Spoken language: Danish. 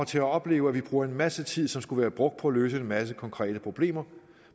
til at opleve at vi bruger en masse tid som skulle være brugt på at løse en masse konkrete problemer